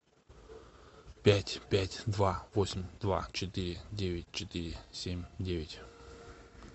пять пять два восемь два четыре девять четыре семь девять